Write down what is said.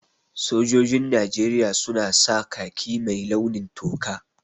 Sojojin Najeriya su na sa khaki mai launin toka